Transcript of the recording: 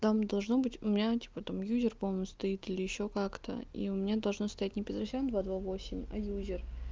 там должно быть у меня типа там юзер помню стоит или ещё как-то и у меня должно стоять не петросян два два восемь а юзер